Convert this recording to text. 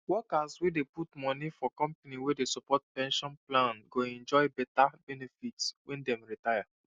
workers wey dey put money for company wey dey support pension plan go enjoy beta benefit when dem retire